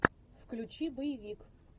включи боевик